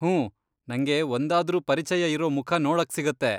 ಹೂಂ, ನಂಗೆ ಒಂದಾದ್ರೂ ಪರಿಚಯ ಇರೋ ಮುಖ ನೋಡಕ್ಸಿಗತ್ತೆ.